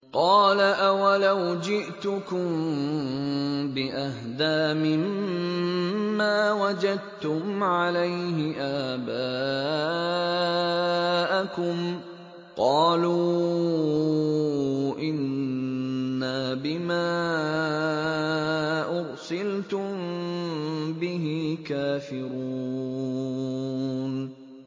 ۞ قَالَ أَوَلَوْ جِئْتُكُم بِأَهْدَىٰ مِمَّا وَجَدتُّمْ عَلَيْهِ آبَاءَكُمْ ۖ قَالُوا إِنَّا بِمَا أُرْسِلْتُم بِهِ كَافِرُونَ